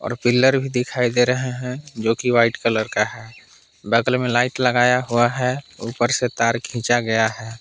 Pillar भी दिखाई दे रहे हैं जो की वाइट कलर का है बगल में लाइट लगाया हुआ है ऊपर से तार खींचा गया है।